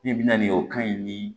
Ne bɛ na ni o kan in ni